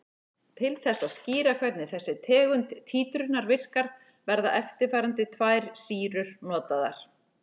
Til þess að skýra hvernig þessi tegund títrunar virkar verða eftirfarandi tvær sýrur notaðar.